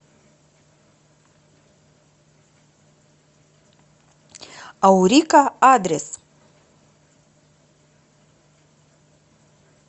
аурика адрес